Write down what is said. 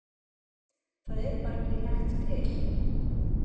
Það er bara ekki nægt til.